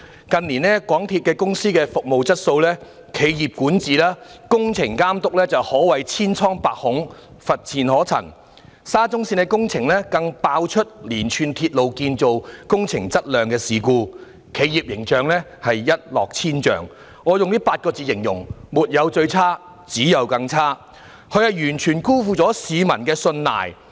近年港鐵公司的服務質素、企業管治及工程監督可謂千瘡百孔，乏善可陳，沙田至中環線工程更爆出連串鐵路建造工程質量事故，企業形象一落千丈，我以8個字來形容，是"沒有最差，只有更差"，港鐵公司完全辜負了市民的信賴。